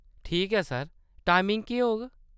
ठीक ऐ sir, timing केह्‌‌ होग ?